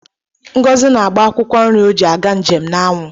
Ngozi na-agba akwụkwọ nri ọ ji aga njem n'anwụ.